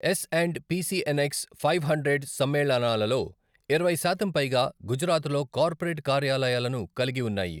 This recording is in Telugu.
Yes and P CNX five hundred సమ్మేళనాలలో ఇరవై శాతం పైగా గుజరాత్లో కార్పొరేట్ కార్యాలయాలను కలిగి ఉన్నాయి.